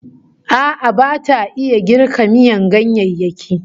A'a bata iya girka miyan ganyayyaki